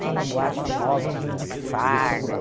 Tinha uma boate famosa, o Judith Farney.